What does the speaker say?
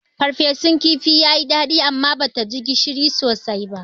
Ferfesun kifin yayi daɗi amma bata ji gishiri sosai ba.